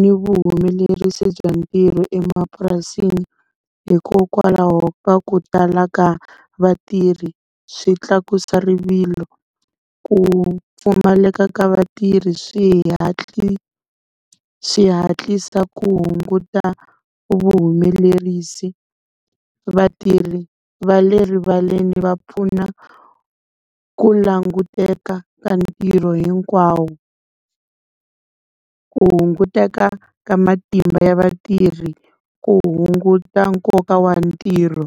ni vuhumelerisi bya ntirho emapurasini, hikokwalaho ka ku tala ka vatirhi swi tlakusa rivilo. Ku pfumaleka ka vatirhi swi swi hatlisa ku hunguta vuhumelerisi. Vatirhi va le rivaleni va pfuna ku languteka ka ntirho hinkwawo, ku hunguteka ka matimba ya vatirhi, ku hunguta nkoka wa ntirho.